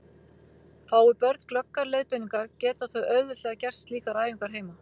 Fái börn glöggar leiðbeiningar geta þau auðveldlega gert slíkar æfingar heima.